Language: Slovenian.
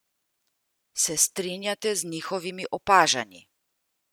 Se strinjate z njihovimi opažanji?